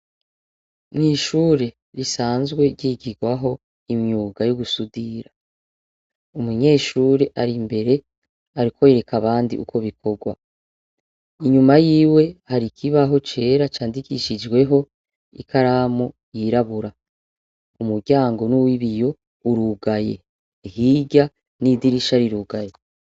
Mwishure risanzwe ryigirwaho imyuga yugusudira umunyeshure ari imbere ariko yereka abandi uko bikorwa inyuma yiwe hari ikibaho cera candikishijweho ikaramu yirabura umuryango nuwibiyo urugaye hirya nidirisha rirugaye